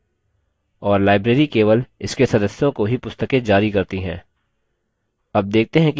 और library केवल इसके सदस्यों को ही पुस्तकें जारी करती हैं